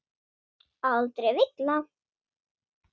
Aldrei villa.